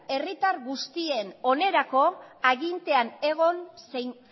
herritar guztien onerako agintean egon zein